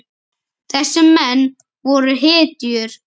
Þessir menn voru hetjur.